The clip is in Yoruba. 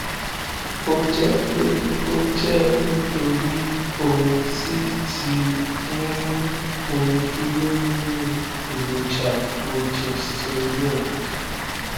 o jẹ pé ó jẹ nítorí ohun tí tí ń mú omi dúró nínú èròjà progesterone